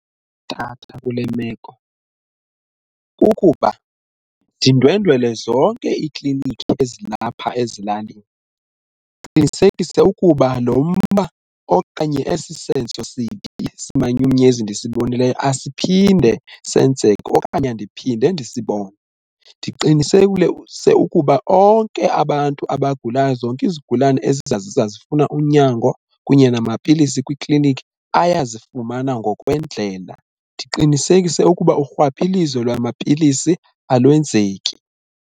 kule meko kukuba ndindwendwele zonke iikliniki ezilapha ezilalini ndiqinisekise ukuba lo mba okanye esi senzo simanyukunyezi ndisibonileyo asiphinde senzeke okanye andiphinde ndisibone. ukuba onke abantu abagulayo zonke izigulane eziza zifuna unyango kunye namapilisi kwiiklinikhi ayazifumana ngokwendlela. Ndiqinisekise ukuba urhwaphilizo lwamapilisi alwenzeki.